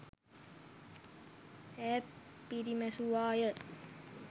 ඈ පිරිමැසුවා ය.